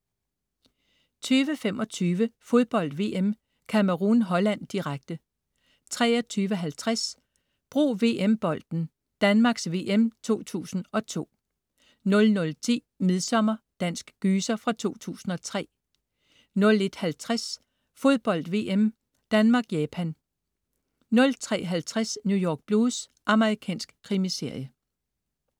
20.25 Fodbold VM: Cameroun-Holland, direkte 23.50 Brug VM-bolden: Danmarks VM 2002 00.10 Midsommer. Dansk gyser fra 2003 01.50 Fodbold VM: Danmark-Japan 03.50 New York Blues. Amerikansk krimiserie